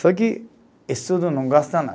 Só que estudo não gosta nada.